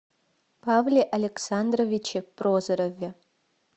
павле александровиче прозорове